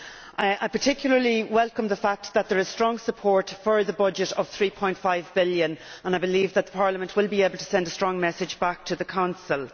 I particularly welcome the fact that there is strong support for the budget of EUR 3.5 billion, and I believe that the Parliament will be able to send a strong message back to the Council.